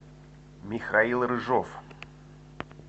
михаил рыжов